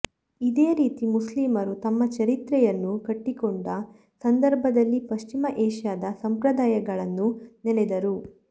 ಇದೇ ರೀತಿ ಮುಸ್ಲಿಮರು ತಮ್ಮ ಚರಿತ್ರೆಯನ್ನು ಕಟ್ಟಿಕೊಂಡ ಸಂದರ್ಭದಲ್ಲಿ ಪಶ್ಚಿಮ ಏಷ್ಯಾದ ಸಂಪ್ರದಾಯಗಳನ್ನು ನೆನೆದರು